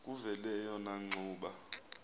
kuvele eyona ngxuba